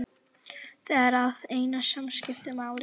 Það er það eina sem skiptir máli.